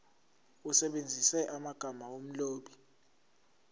usebenzise amagama omlobi